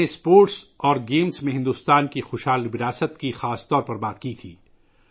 میں نے خاص طور پر کھیلوں میں بھارت کے شاندار وراثت پر بات کی تھی